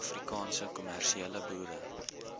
afrikaanse kommersiële boere